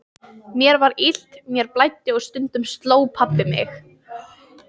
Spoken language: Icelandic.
Mér var illt, mér blæddi og stundum sló pabbi mig.